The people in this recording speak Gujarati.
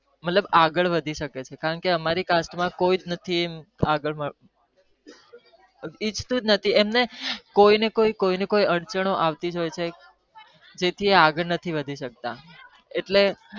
મતલબ આગળ વધી શકી કારણ કે અમારી cast માં કોઈ આગળ વધવા દેતું એમને કોઈ ને કોઈ અર્ચન ઓ અવત્તી રહે છે